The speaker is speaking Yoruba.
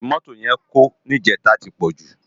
Èrú ti mótó yèn kó nijètá ti pòjú